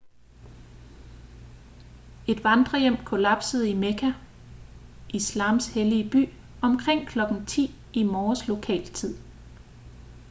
et vandrehjem kollapsede i mekka islams hellige by omkring kl. 10 i morges lokal tid